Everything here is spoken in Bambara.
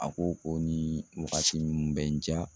A ko ko nin wagati min bɛ n diya